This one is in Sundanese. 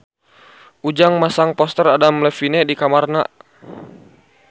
Ujang masang poster Adam Levine di kamarna